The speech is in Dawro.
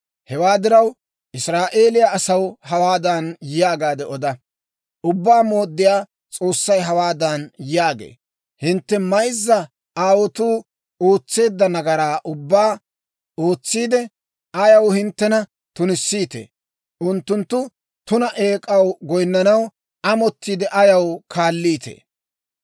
Hewaa diraw, Israa'eeliyaa asaw hawaadan yaagaade oda; «Ubbaa Mooddiyaa S'oossay hawaadan yaagee; ‹Hintte mayzza aawotuu ootseedda nagaraa ubbaa ootsiide, ayaw hinttena tunissiitee? Unttunttu tuna eek'aa goynanaw amottiide ayaw kaaliitee?